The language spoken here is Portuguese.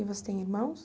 E você tem irmãos?